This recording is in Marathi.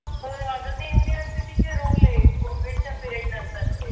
हो अग ते इंदिरा city चे rule आहेत कोविडच्या period नंतर